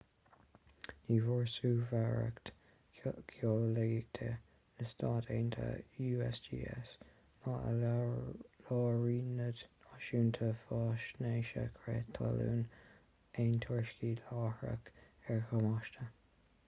ní bhfuair suirbhéireacht gheolaíochta na stát aontaithe usgs ná ​​a lárionad náisiúnta faisnéise crith talún aon tuairiscí láithreach ar dhamáiste